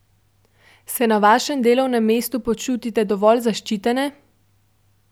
Se na vašem delovnem mestu počutite dovolj zaščitene?